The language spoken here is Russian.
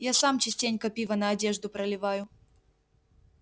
я сам частенько пиво на одежду проливаю